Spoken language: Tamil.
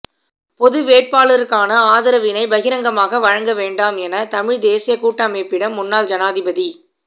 பொது வேட்பாளருக்கான ஆதரவினை பகிரங்கமாக வழங்க வேண்டாம் என தமிழ்த் தேசியக் கூட்டமைப்பிடம் முன்னாள் ஜனாதிபதி